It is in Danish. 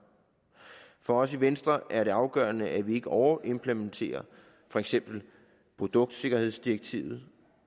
for os i venstre er det afgørende at vi ikke overimplementerer for eksempel produktsikkerhedsdirektivet